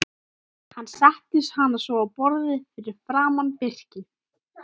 Hann setti hana svo á borðið fyrir framan Birki.